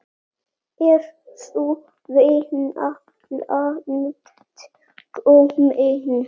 Er sú vinna langt komin.